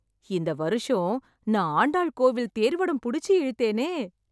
இந்த வருஷம் நான் ஆண்டாள் கோவில் தேர் வடம் புடிச்சி இழுத்தேனே...